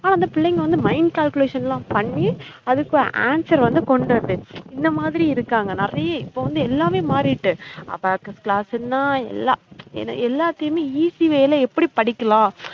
அந்த பிள்ளைங்க வந்து mind calculation லாம் பண்ணி அதுக்கு answer வந்து கொண்டுவருது இந்த மாதிரி இருக்காங்க நெறைய இப்ப வந்து எல்லாமே மாறிட்டு abacus class என்ன எல்லாம் ஏன எல்லாத்தையுமே easy way ல எப்டி படிக்கலாம்